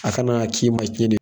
A kana k'i ma cɛnni ye